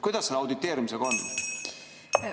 Kuidas selle auditeerimisega on?